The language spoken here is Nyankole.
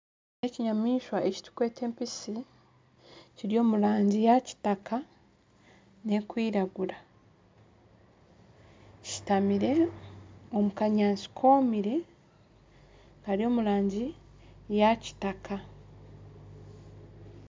Ekinyamishwa eki tukweta empisi Kiri omurangi ya kitaka nekwiragura. Kishutamire omu kanyaasti komire Kari omurangi ya kitaka.